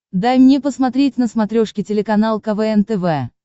дай мне посмотреть на смотрешке телеканал квн тв